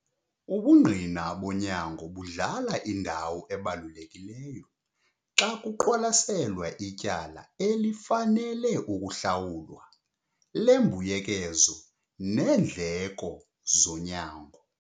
Ubungqina bonyango budlala indawo ebalulekileyo xa kuqwalaselwa ityala elifanele ukuhlawulwa lembuyekezo neendleko zonyango.